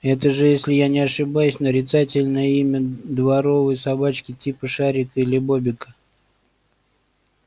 это же если я не ошибаюсь нарицательное имя дворовой собачки типа шарика или бобика